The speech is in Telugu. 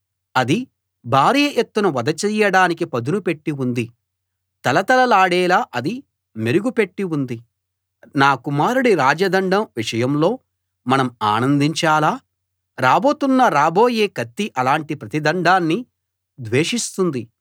అది భారీ ఎత్తున వధ చెయ్యడానికి పదును పెట్టి ఉంది తళతళలాడేలా అది మెరుగుపెట్టి ఉంది నా కుమారుడి రాజదండం విషయంలో మనం ఆనందించాలా రాబోతున్న రాబోయే కత్తి అలాంటి ప్రతి దండాన్నీ ద్వేషిస్తుంది